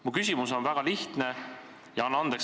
Mu küsimus on väga lihtne ja – anna andeks!